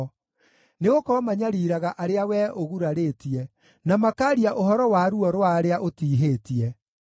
Nĩgũkorwo manyariiraga arĩa wee ũgurarĩtie, na makaaria ũhoro wa ruo rwa arĩa ũtiihĩtie.